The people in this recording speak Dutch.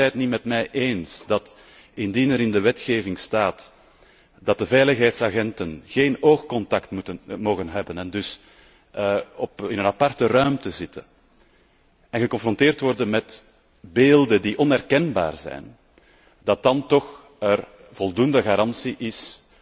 Is zij het niet met mij eens dat, indien er in de wetgeving staat dat de veiligheidsagenten geen oogcontact mogen hebben en dus in een aparte ruimte zitten en geconfronteerd worden met beelden die onherkenbaar zijn, er dan toch voldoende garantie is